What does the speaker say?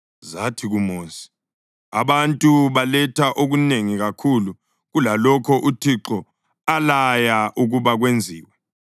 zathi kuMosi, “Abantu baletha okunengi kakhulu kulalokho uThixo alaya ukuba kwenziwe.”